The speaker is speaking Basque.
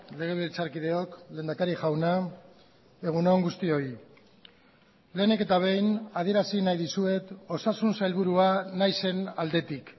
legebiltzarkideok lehendakari jauna egun on guztioi lehenik eta behin adierazi nahi dizuet osasun sailburua naizen aldetik